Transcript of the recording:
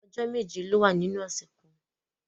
Ọjọ́ méje ló wà nínú ọ̀sẹ̀ kan.